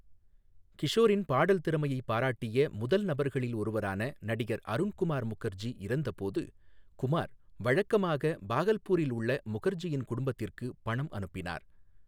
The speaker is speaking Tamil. கிஷோரின் பாடல் திறமையை பாராட்டிய முதல் நபர்களில் ஒருவரான நடிகர் அருண் குமார் முகர்ஜி இறந்தபோது, குமார் வழக்கமாக பாகல்பூரில் உள்ள முகர்ஜியின் குடும்பத்திற்கு பணம் அனுப்பினார்.